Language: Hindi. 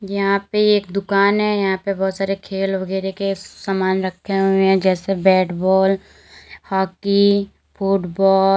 यहां पे एक दुकान है। यहां पे बहोत सारे खेल वगैरे के श समान रखे हुए हैं जैसे बैट बॉल हॉकी फुटबॉ --